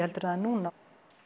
heldur en núna